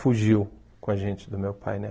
fugiu com a gente do meu pai, né?